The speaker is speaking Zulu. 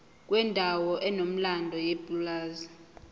kwendawo enomlando yepulazi